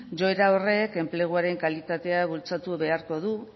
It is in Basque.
joera horrek enpleguaren kalitatea bultzatu beharko du